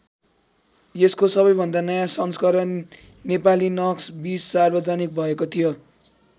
यसको सबैभन्दा नयाँ संस्करण नेपालीनक्स २० सार्वजनिक भएको थियो।